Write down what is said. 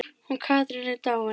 Hún Katrín er dáin.